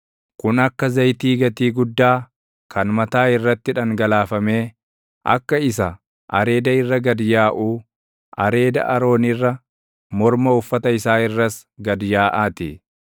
Kun akka zayitii gatii guddaa kan mataa irratti dhangalaafamee, akka isa areeda irra gad yaaʼuu, areeda Aroon irra, morma uffata isaa irras gad yaaʼa ti.